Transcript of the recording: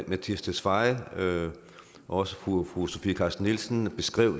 mattias tesfaye og også fru fru sofie carsten nielsen beskrev